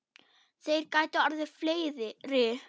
Þeir gætu orðið fleiri.